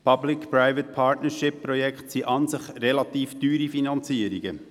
Bei PPP-Projekten handelt es sich um relativ teure Finanzierungen.